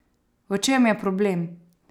V čem je problem?